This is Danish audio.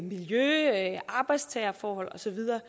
miljø arbejdstagerforhold og så videre